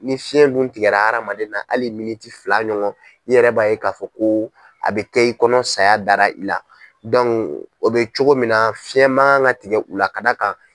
Ni fiɲɛ dun tigɛ hadamaden na hali fila ɲɔgɔn i yɛrɛ b'a ye k'a fɔ ko a bɛ kɛ i kɔnɔ ko saya dara i la o bɛ cogo min na fiɲɛ man kan ka tigɛ u la kada kan.